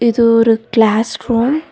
இது ஒரு classroom .